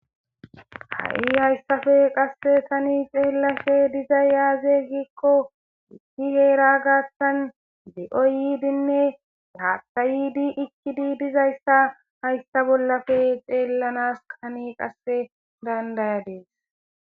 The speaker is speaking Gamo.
ha7i hayssafe qasse tani xeellashe diza yaaze gikko ikki heera gaattan de7o yiidinne gaatta yiidi ikkidi dizayssa hayssa bollafe xeellanas qani qasse dandayadis